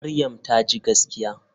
Maryam taji gaskiya.